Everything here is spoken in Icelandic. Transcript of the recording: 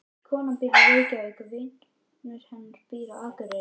Konan býr í Reykjavík. Vinur hennar býr á Akureyri.